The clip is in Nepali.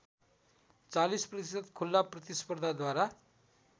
४० प्रतिशत खुला प्रतिस्पर्धाद्वारा